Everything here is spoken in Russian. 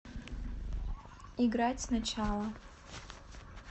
играть сначала